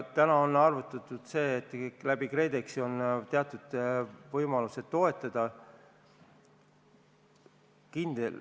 Täna on arvutatud, et ka KredExi kaudu on teatud võimalused toetada.